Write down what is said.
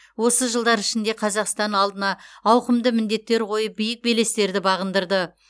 осы жылдар ішінде қазақстан алдына ауқымды міндеттер қойып биік белестерді бағындырды